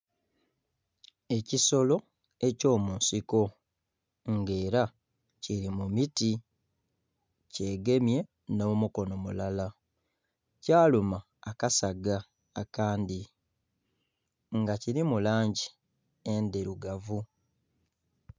Ekisolo ekyo munsiko nga era kiri mu miti nga era kye gemye no'mukono mulala kyaluma akasaga akandhi nga kirimu langi endhirugavu.